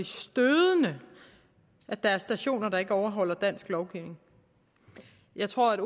stødende at der er stationer der ikke overholder dansk lovgivning jeg tror at